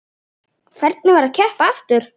Hvernig var að keppa aftur?